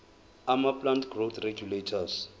amaplant growth regulators